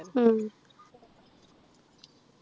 ഉം